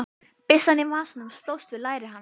Byssan í vasanum slóst við læri hans.